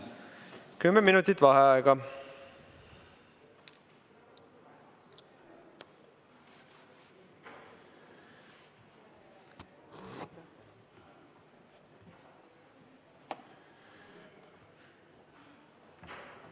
Kümme minutit vaheaega.